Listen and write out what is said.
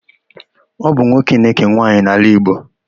Ọ bụ nwoke na-ékè nwaanyị n'ala Igbo.